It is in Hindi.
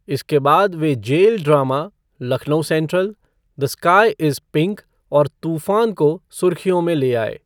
इसके बाद वे जेल ड्रामा 'Lucknow central', 'the sky is pink' और 'तूफान' को सुर्खियों में ले आए।